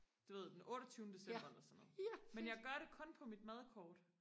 du ved den otteogtyvende december eller sådan noget men jeg gør det kun på mit madkort